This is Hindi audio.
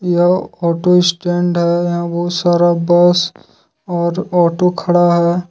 यह ऑटो स्टैंड है यहां बहुत सारा बस और ऑटो खड़ा है।